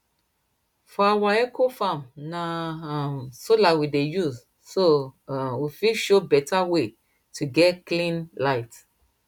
for our ecofarm na um solar we dey use so um we fit show better way to get clean light